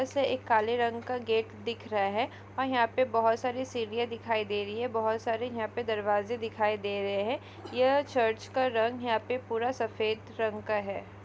इसमें एक काले रंग का गेट दिख रहा है और यहाँ पर बहुत सारी सीढिया दिखाई दे रही है। बहुत सारे यहाँ पे दरवाजे दिखाई दे रहे हैं। यह चर्च का रंग यहाँ पर पूरा सफेद रंग का है।